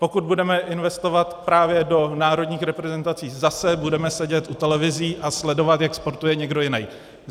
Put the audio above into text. Pokud budeme investovat právě do národních reprezentací, zase budeme sedět u televizí a sledovat, jak sportuje někdo jiný.